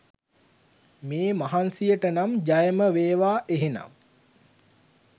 මේ මහන්සියටනම් ජයම වේවා එහෙනම්